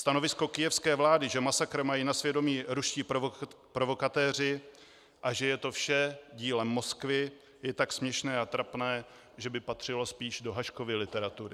Stanovisko kyjevské vlády, že masakr mají na svědomí ruští provokatéři a že je to vše dílem Moskvy, je tak směšné a trapné, že by patřilo spíš do Haškovy literatury.